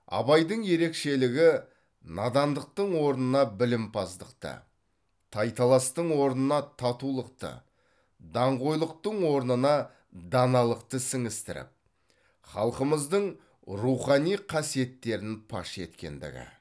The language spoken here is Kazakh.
абайдың ерекшелігі надандықтың орнына білімпаздықты тайталастың орнына татулықты даңғойлықтың орнына даналықты сіңістіріп халқымыздың рухани қасиеттерін паш еткендігі